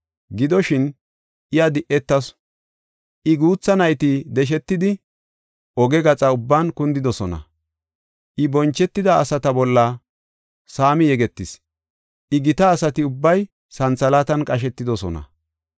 Gidoshin, iya di7etasu; I guutha nayti deshetidi, oge gaxa ubban kundidosona. I bonchetida asata bolla saami yegetis; I gita asati ubbay santhalaatan qashetidosona.